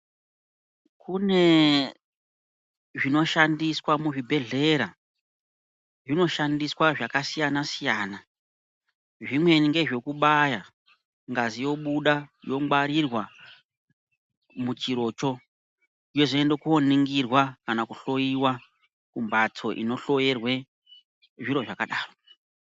Kune zvinoshandiswa muzvibhedhlera zvinoshandiswa zvakasiyana-siyana zvimweni ngezvekubaya ngazi yobuda yongwarirwa muchirocho yozoenda koningirwa kana kuhloiwa kumbhatso inohloerwe zviro zvakadaro.